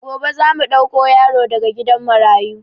Gobe zamu ɗauko yaro daga gidan marayu